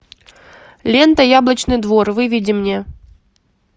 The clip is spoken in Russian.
лента яблочный двор выведи мне